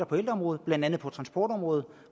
på ældreområdet blandt andet på transportområdet